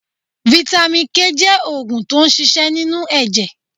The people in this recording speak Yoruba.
Vitamin K jẹ́ oògùn tó n ṣiṣẹ́ nínú ẹ̀jẹ̀